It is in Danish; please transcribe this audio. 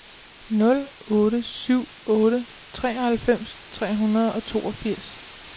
nul otte syv otte treoghalvfems tre hundrede og toogfirs